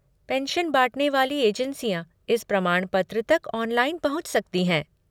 Pension बाँटने वाली एजेंसियाँ इस प्रमाणपत्र तक ऑनलाइन पहुँच सकती हैं।